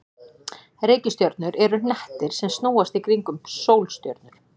Reikistjörnur eru hnettir sem snúast í kringum sólstjörnur.